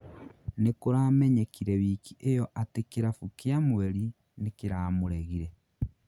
nĩkuramenyekire wiki ĩyo atĩ kĩrabũ kia mweri nĩkiramuregire